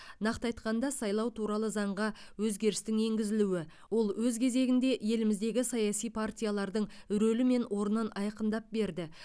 нақты айтқанда сайлау туралы заңға өзгерістің енгізілуі ол өз кезегінде еліміздегі саяси партиялардың рөлі мен орнын айқындап берді